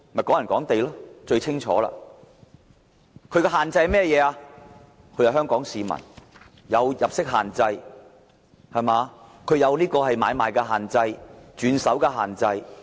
"港人港地"的限制包括，買家必須是香港市民，也有入息限制、買賣限制及轉手限制。